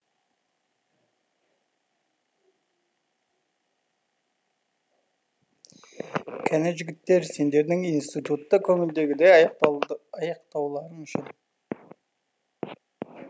кәне жігіттер сендердің институтты көңілдегідей аяқтауларың үшін